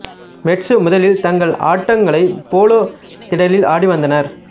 மெட்சு முதலில் தங்கள் ஆட்டங்களை போலோ திடலில் ஆடி வந்தனர்